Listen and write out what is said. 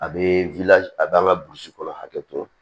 A bɛ a bɛ an ka burusi kɔnɔ hakɛ to